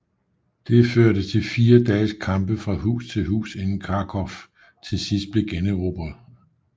Det førte til fire dages kampe fra hus til hus inden Kharkov til sidst blev generobret af 1